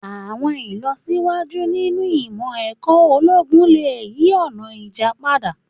Àwọn ilọsiwaju ninu imọ-ẹrọ ologun le yi ọna ija pada.